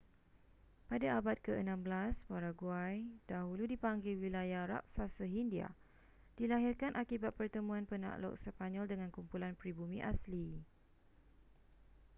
pada abad ke-16 paraguay dahulu dipanggil wilayah raksasa hindia dilahirkan akibat pertemuan penakluk sepanyol dengan kumpulan pribumi asli